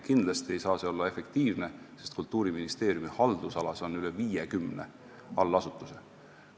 Kindlasti ei saa see olla efektiivne, sest Kultuuriministeeriumi haldusalas on üle 50 allasutuse.